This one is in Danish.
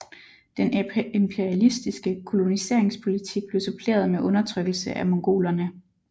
Den imperialistiske koloniseringspolitik blev suppleret med undertrykkelse af mongolerne